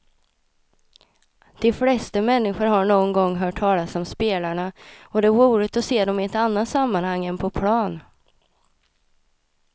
De flesta människor har någon gång hört talas om spelarna och det är roligt att se dem i ett annat sammanhang än på plan.